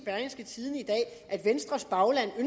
at venstres bagland i